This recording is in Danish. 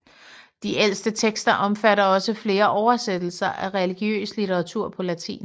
De ældste tekster omfatter også flere oversættelser af religiøs litteratur på latin